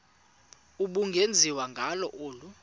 ubungenziwa ngalo olu